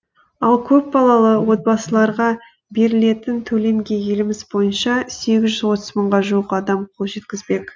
ал көпбалалы отбасыларға берілетін төлемге еліміз бойынша сегіз жүз отыз мыңға жуық адам қол жеткізбек